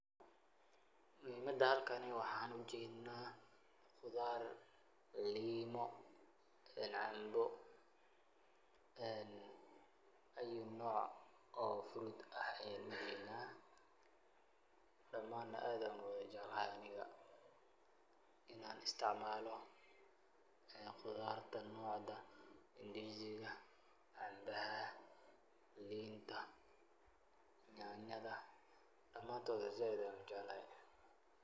Muhiimada halkani waxaan u jeednaa qudaar, liimo, cambo, ayu noc oo fruit ah ayaan u jeedaa. Dhamaan aad ayaan u jecelahay aniga inaan istaacmaalo qudaarta nocda; ndiziga, cambaha, linta, nyanyada, dhamaantod sayd ayaan u jeclahay.